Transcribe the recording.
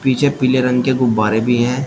पीछे पीले रंग के गुब्बारे भी हैं।